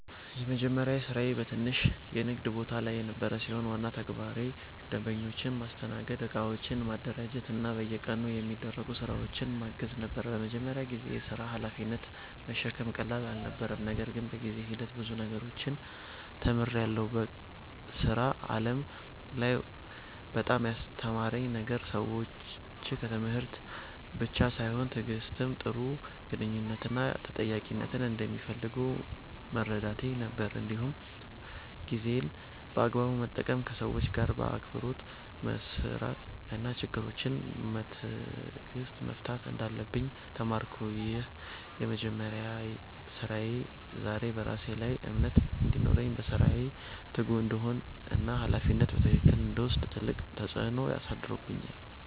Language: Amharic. የመጀመሪያ ስራዬ በትንሽ የንግድ ቦታ ላይ የነበረ ሲሆን፣ ዋና ተግባሬ ደንበኞችን ማስተናገድ፣ እቃዎችን ማደራጀት እና በየቀኑ የሚደረጉ ስራዎችን ማገዝ ነበር። በመጀመሪያ ጊዜ የሥራ ሀላፊነትን መሸከም ቀላል አልነበረም፣ ነገር ግን በጊዜ ሂደት ብዙ ነገሮችን ተምሬያለሁ። በሥራ ዓለም ላይ በጣም ያስገረመኝ ነገር ሰዎች ከትምህርት ብቻ በላይ ትዕግሥት፣ ጥሩ ግንኙነት እና ተጠያቂነትን እንደሚፈልጉ መረዳቴ ነበር። እንዲሁም ጊዜን በአግባቡ መጠቀም፣ ከሰዎች ጋር በአክብሮት መስራት እና ችግሮችን በትዕግሥት መፍታት እንዳለብኝ ተማርኩ። ይህ የመጀመሪያ ስራዬ ዛሬ በራሴ ላይ እምነት እንዲኖረኝ፣ በስራዬ ትጉ እንድሆን እና ሀላፊነትን በትክክል እንድወስድ ትልቅ ተጽዕኖ አሳድሯል።